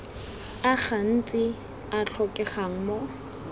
a gantsi a tlhokegang mo